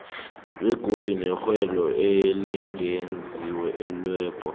begodu nerhelo elingezelelweko